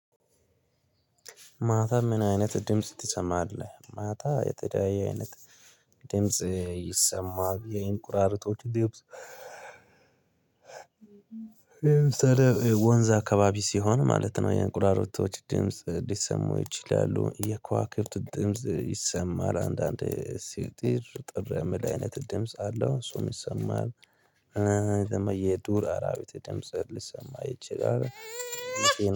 ማታ ምን አይነት ድምጽ ትሰማለህ? ማታ የተለያየ አይነት ድምጽ ይሰማል የእንቁራሪቶች ድምጽ። ለምሳሌ ወንዝ አካባቢ ሲሆን ማለት ነው የእንቁራሪቶች ድምጽ ሊሰሙ ይችላሉ የከዋከብት ድምጽ ይሰማል። አንዳንድ ሲጥር ጥር የምል አይነት ድምጽ አለው እሱም ይሰማል። ዱር አራቢት ድምጽ ሊሰማ ይችላል።